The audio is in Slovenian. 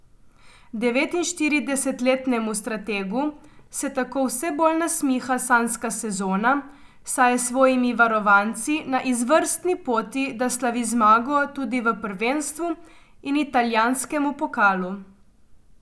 Devetinštiridesetletnemu strategu se tako vse bolj nasmiha sanjska sezona, saj je s svojimi varovanci na izvrstni poti, da slavi zmago tudi v prvenstvu in italijanskemu pokalu.